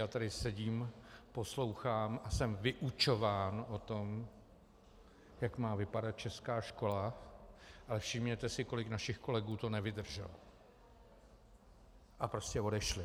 Já tady sedím, poslouchám a jsem vyučován o tom, jak má vypadat česká škola, ale všimněte si, kolik našich kolegů to nevydrželo a prostě odešli.